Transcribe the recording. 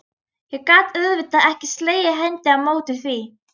Ég gat auðvitað ekki slegið hendi á móti því.